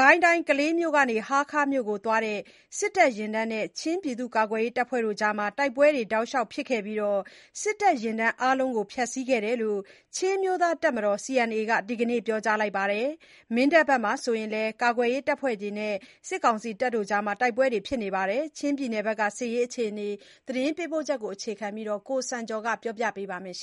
ကိုင်းတိုင်း ကလေးမြို့ကနေ ဟားခါးမြို့ကို သွားတဲ့ စစ်တပ်ယာဉ်တန်းနဲ့ ချင်းကာကွယ်ရေး အဖွဲ့တွေကြား တိုက်ပွဲတွေ တောက်လျှောက်ဖြစ်ခဲ့ပြီး စစ်တပ်ယာဉ်တန်း အားလုံးကို ဖျက်ဆီးခဲ့တယ်လို့ ချင်းအမျိုးသားတပ်မတော် (CNA) ဘက်က ဒီနေ့ ပြောကြားပါတယ်။ မင်းတပ်ဘက်မှာဆိုရင်လည်း ကာကွယ်ရေးအဖွဲ့တွေနဲ့ စစ်တပ်တို့ တိုက်ပွဲတွေ ဖြစ်ခဲ့ပါတယ်။ ချင်းပြည်နယ်က တိုက်ပွဲတွေ အကြောင်းကို သတင်းပေးပို့ချက်ကို အခြေခံပြီး ကိုစံကျော်က ပြောပြပါမယ်။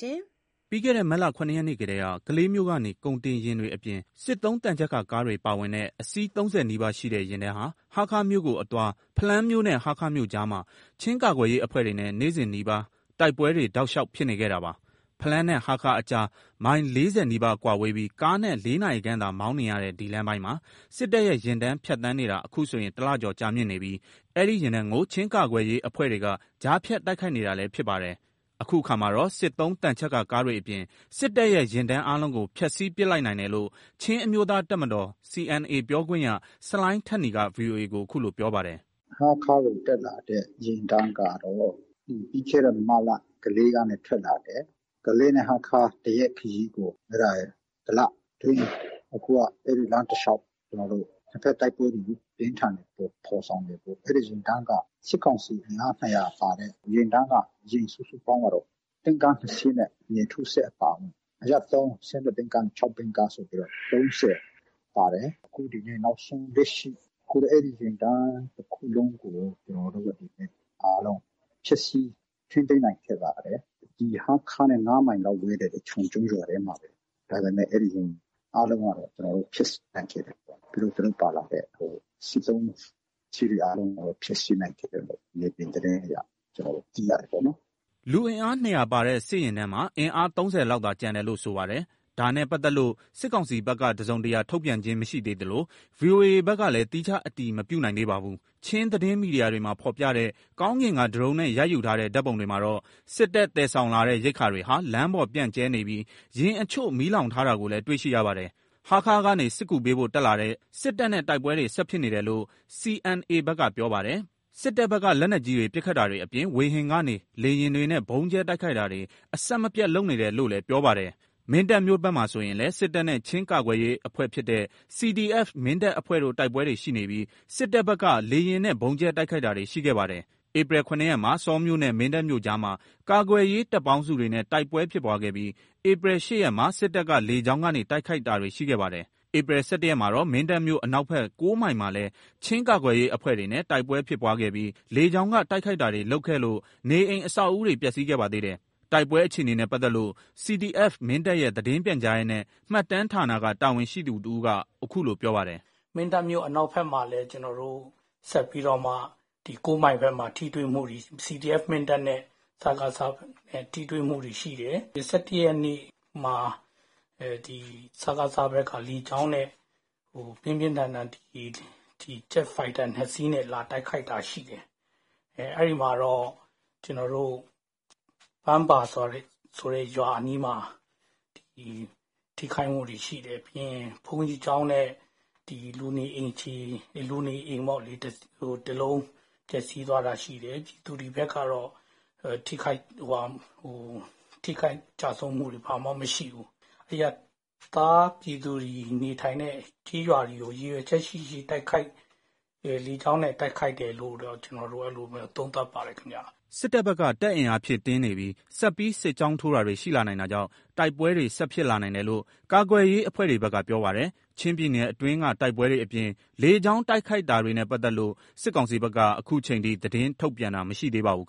ပြီးခဲ့တဲ့ မတ်လ ၇ ရက်နေ့ထဲက ကလေးမြို့ကနေ ကုန်တင်ယာဉ်တွေအပြင် စစ်သုံး သံချပ်ကာကားတွေ ပါဝင်တဲ့ အစီး ၃၀ နီးပါးရှိတဲ့ ယာဉ်တန်းဟာ ဟာခါးမြို့ကိုအသွား ဖလမ်းမြို့နဲ့ ဟားခါးမြို့ကြားမှာ ချင်းကာကွယ်ရေးအဖွဲ့တွေနဲ့ နေ့စဉ်နီးပါး တိုက်ပွဲတွေ တောက်လျှောက် ဖြစ်နေခဲ့တာပါ။ ဖလမ်းနဲ့ ဟားခါးအကြား မိုင် ၄၀ နီးပါးကွာဝေးပြီး ကားနဲ့ ၄ နာရီခန့်သာ မောင်နှင်ရတဲ့ ဒီလမ်းပိုင်းမှာ စစ်တပ်ရဲ့ယာဉ်တန်း ဖြတ်သန်းနေတာ အခုဆိုရင် ၁ လကျော် ကြာမြင့်နေပြီး အဲ့ဒီယာဉ်တန်းကို ချင်းကာကွယ်ရေး အဖွဲ့တွေက ကြားဖြတ်တိုက်ခိုက်နေတာလည်း ဖြစ်ပါတယ်။ အခုအခါမှာတော့ စစ်သုံးသံချပ်ကာ ကားတွေအပြင် စစ်တပ်ရဲ့ ယာဉ်တန်း အားလုံးကို ဖျက်ဆီးပစ်လိုက်နိုင်တယ်လို့ ချင်းအမျိုးသားတပ်မတော် (CNA) ပြောခွင့်ရ ဆလိုင်းထက်နီက ဗွီအိုအေကို အခုလို ပြောပါတယ်။ “ဟားခါးကိုတက်လာတဲ့ ယာဉ်တန်းကတော့ ပြီးခဲ့တဲ့မတ်လ ကလေး(မြို့)ကနေ ထွက်လာတယ်။ ကလေးနဲ့ ဟားခါး ၁ ရက်ခရီးကို ၁ လ အတွင်းမှာ အဲ့ဒီ့လမ်းတလျှောက် ၂ ဖက်တိုက်ပွဲတွေ အပြင်းအထန်ဖော်ဆောင်ပြီး အဲ့ဒီ့ယာဉ်တန်းက၊ စစ်ကောင်စီ အင်အား ၂၀၀ ပါတဲ့ ယာဉ်တန်းက ယာဉ်စုစုပေါင်းကတော့ တင့်ကား ၂ စီးနဲ့ မြေထိုးစက်အပါအဝင် အရပ်သုံး ၁၂ ဘီးကားနဲ့ ၆ ဘီးကားဆိုပြီး ၃၀ ပါတယ်။ အခုနောက်ဆုံးလက်ရှိ အဲ့ဒီယာဉ်တန်းတခုလုံးကို ကျွန်တော်တို့ ဖျက်ဆီး ထိန်းသိမ်းနိုင်ခဲ့ပါတယ်။ ဟားခါးနဲ့ ၅ မိုင်ပဲဝေးတဲ့ ချွန်ကျုံးရွာထဲမှာပဲ အားလုံးက ဖျက်ဆီးနိုင်ခဲ့တယ်ပေါ့။ ပြီးတော့ သူတို့ပါလာတဲ့ စစ်သုံးယာဉ်တွေအားလုံးကို ဖျက်ဆီးနိုင်ခဲ့တယ်ပေါ့၊ မြေပြင် သတင်းအရ။” လူအင်အား ၂၀၀ ပါတဲ့ စစ်ယာဉ်တန်းမှာ အင်အား ၃၀ လောက်သာ ကျန်တယ်လို့ ဆိုပါတယ်။ ဒါနဲ့ပါတ်သက်လို့ စစ်ကောင်စီဘက်က တစုံတရာ ထုတ်ပြန်ခြင်း မရှိသေးသလို၊ ဗီအိုအေဘက်ကလည်း သီးခြားအတည်မပြုနိုင်သေးပါဘူး။ ချင်းသတင်းမီဒီယာတွေမှာဖော်ပြတဲ့ ကောင်းကင်က ဒရုန်းနဲ့ ရိုက်ယူထားတဲ့ ဓာတ်ပုံတွေမှာတော့ စစ်တပ် သယ်ဆောင်လာတဲ့ ရိက္ခာတွေဟာ လမ်းပေါ်ပြန့်ကျဲနေပြီး ယာဉ်အချို့ မီးလောင်ထားတာတွေကိုလည်း တွေ့ရှိရပါတယ်။ ဟားခါးကနေ စစ်ကူပေးဖို့ တက်တာတဲ့ စစ်တပ်နဲ့ တိုက်ပွဲတွေ ဆက်ဖြစ်နေတယ်လို့ CNA ဘက်ကပြောပါတယ်။ စစ်တပ်ဘက်က လက်နက်ကြီးတွေ ပစ်ခတ်တာတွေ အပြင် ဝေဟင်ကနေ လေယာဉ်တွေနဲ့ ဗုံးကြဲ တိုက်ခိုက်တာတွေ အဆက်မပြတ် လုပ်နေတယ်လို့လည်း ပြောပါတယ်။ မင်းတပ်မြို့ဘက်မှာဆိုရင်လည်း စစ်တပ်နဲ့ ချင်းကာကွယ်ရေးအဖွဲ့ဖြစ်တဲ့ CDF မင်းတပ်အဖွဲ့တို့ တိုက်ပွဲတွေ ရှိနေပြီး စစ်တပ်ဘက်က လေယာဉ်နဲ့ ဗုံးကြဲ တိုက်ခိုက်တာတွေ ရှိခဲ့ပါတယ်။ ဧပြီ ၇ ရက်မှာ ဆောမြို့နဲ့ မင်းတပ်မြို့ကြားမှာ ကာကွယ်ရေး တပ်ပေါင်းစုတွေနဲ့ တိုက်ပွဲဖြစ်ပွားခဲ့ပြီး ဧပြီ ၈ ရက်မှာ စစ်တပ်က လေကြောင်းကနေ တိုက်ခိုက်တာတွေ ရှိခဲ့ပါတယ်။ ဧပြီ ၁၁ ရက်မှာတော့ မင်းတပ်မြို့အနောက်ဖက် ၉ မိုင်မှာလည်း ချင်းကာကွယ်ရေးအဖွဲ့တွေနဲ့ တိုက်ပွဲ ဖြစ်ပွားခဲ့ပြီး လေကြောင်းက တိုက်ခိုက်တာတွေ လုပ်ခဲ့လို့ နေအိမ်အဆောက်အဦးတွေ ပျက်စီးခဲ့ပါသေးတယ်။ တိုက်ပွဲအခြေအနေနဲ့ ပတ်သက်လို့ CDF မင်းတပ်ရဲ့ သတင်း ပြန်ကြားရေးနဲ့ မှတ်တမ်းဌာနက တာဝန်ရှိသူ တဦးက အခုလို ပြောပါတယ်။ “မင်းတပ်မြို့ အနောက်ဖက်မှာလည်း ကျွန်တော်တို့ ဆက်ပြီးတော့မှ ၉ မိုင်ဘက်မှာ ထိတွေ့မှုတွေ၊ CDF မင်းတပ်နဲ့ စကစ ထိတွေ့မှုတွေ ရှိတယ်။ ၁၁ ရက်နေ့မှာ စကစ ဘက်က လေကြောင်းနဲ့ ပြင်းပြန်းထန်ထန် ဂျက်ဖိုက်တာ ၂ စီးနဲ့ လာတိုက်ခိုက်တာရှိတယ်။ အဲ့မှာတော့ ကျွန်တော်တို့ ပန်းပါ ဆိုတဲ့ ရွာအနီးမှာ ထိခိုက်မှုတွေရှိတယ်။ ဘုန်းကြီးကျောင်းနဲ့ လူနေအိမ်ခြေ၊ လူနေအိမ် ၁ လုံး ပျက်စီးသွားတာရှိတယ်။ ဒီဘက်ကတော့ ထိခိုက်တာ ကျဆုံးမှုတွေ ဘာမှမရှိဘူး။ အရပ်သားပြည်သူတွေနေထိုင်တဲ့ နေရာတွေကို ရည်ရွယ်ချက်ရှိရှိ လေကြောင်းနဲ့ တိုက်ခိုက်တယ်လို့ပဲ ကျွန်တော်တို့ သုံးသပ်ပါတယ်ခင်ဗျ။” စစ်တပ်ဘက်က တပ်အင်အားဖြည့်တင်းနေပြီး ဆက်ပြီး စစ်ကြောင်းထိုးတာတွေ ရှိလာနိုင်တာကြောင့် တိုက်ပွဲတွေ ဆက်ဖြစ်လာနိုင်တယ်လို့ ကာကွယ်ရေး အဖွဲ့တွေဘက်က ပြောပါတယ်။ ချင်းပြည်နယ်အတွင်းက တိုက်ပွဲတွေအပြင် လေကြောင်းတိုက်ခိုက်တာတွေနဲ့ ပတ်သက်လို့ စစ်ကောင်စီဘက်က အခုချိန်ထိ သတင်းထုတ်ပြန်တာ မရှိသေးပါဘူး